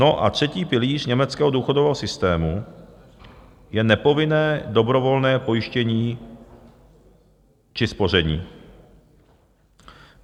No a třetí pilíř německého důchodového systému je nepovinné dobrovolné pojištění či spoření.